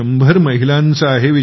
१०० महिलांचं आहे